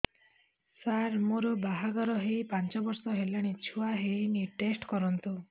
ସାର ମୋର ବାହାଘର ହେଇ ପାଞ୍ଚ ବର୍ଷ ହେଲାନି ଛୁଆ ହେଇନି ଟେଷ୍ଟ କରନ୍ତୁ